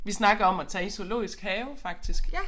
Vi snakker om at tage i Zoologisk Have faktisk